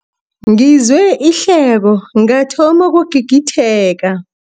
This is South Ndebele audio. Ngizwe ihleko ngathoma ukugigitheka.